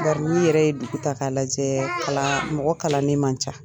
Bari n'i yɛrɛ ye dugu ta ka lajɛ kalan mɔgɔ kalannen man ca.